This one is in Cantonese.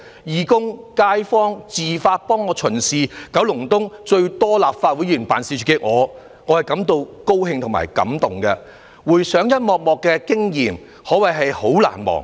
義工和街坊自發地為我巡視，九龍東最多立法會議員辦事處的我，感到高興和感動，回想一幕幕的經驗可謂相當難忘。